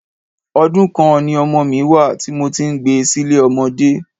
Ọdún kan ni ọmọ mi wá à tí mo ti ń gbé sile ọmọdé.